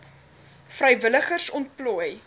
vrywilligers ontplooi